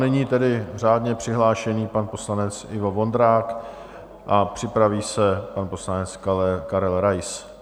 Nyní tedy řádně přihlášený pan poslanec Ivo Vondrák a připraví se pan poslanec Karel Rais.